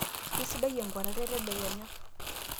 keisidai enkuatata etedekenya